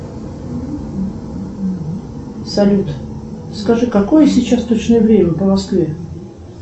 салют скажи какое сейчас точное время по москве